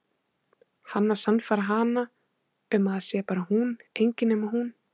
Hann að sannfæra hana um að það sé bara hún, engin nema hún.